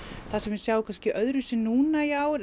það sem við sjáum kannski öðru vísi núna í ár